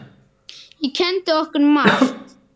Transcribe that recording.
Hún kenndi okkur margt.